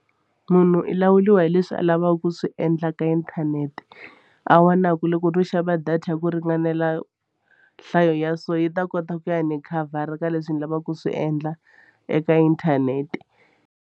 Munhu i lawuliwa hileswi a lavaka ku swi endla ka inthanete a vonaku loko no xava data ya ku ringanela nhlayo ya so yi ta kota ku ya ni khavhara ka leswi ni lavaka ku swi endla eka inthanete.